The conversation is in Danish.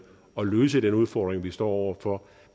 og løse den udfordring vi står over for